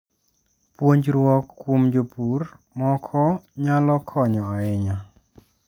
Puonjruok kuom jopur moko nyalo konyo ahinya.